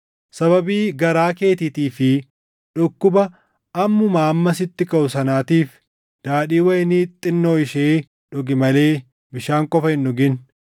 Sababii garaa keetiitii fi dhukkuba ammumaa amma sitti kaʼu sanaatiif daadhii wayinii xinnoo ishee dhugi malee bishaan qofa hin dhugin.